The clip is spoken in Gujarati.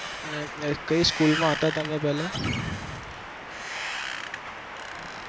ને એ કયી school માં હતા તમે પેલા